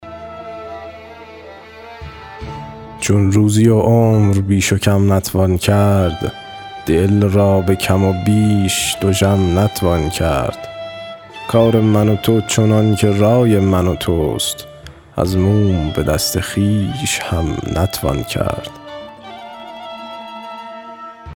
چون روزی و عمر بیش و کم نتوان کرد دل را به کم و بیش دژم نتوان کرد کار من و تو چنان که رای من و توست از موم به دست خویش هم نتوان کرد